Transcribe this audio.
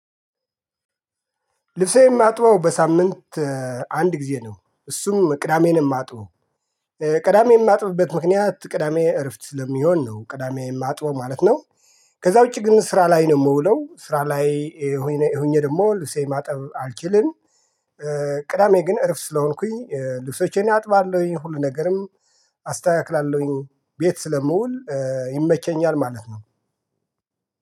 ልብሴን የማጥበው በሳምንት አንድ ጊዜ ነው እሱም ቅዳሜ ነው የማጥበው ቅዳሜ የማጥብበት ምክንያት ቅዳሜ እረፍት ስለሚሆን ነው ቅዳሜ የማጥበው ማለት ነው። ከዛ ውጪ ግን ስራ ላይ ነው የምውለው ስራ ላይ ሆኜ ደግሞ ልብሴን ማጠብ አልችልም። ቅዳሜ ግን እረፍት ስለሆንኩኝ ልብሶቼን አጥባለሁኝ ሁሉ ነገርም አስተካክላለሁኝ ቤት ስለምውል ይመቸኛል ማለት ነው።